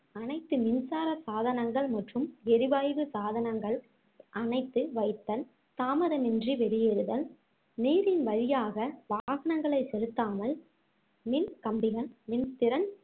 அனைத்து மின்சார சாதனங்கள் மற்றும் ஏரிவாய்வு சாதனங்கள் அணைத்து வைத்தல் தாமதமின்றி வெளியேறுதல் நீரின் வழியாக வாகனங்களை செலுத்தாமலும் மின் கம்பிகள், மின் திறன்